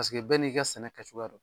Paseke bɛɛ n'i ka sɛnɛ kɛcogoya don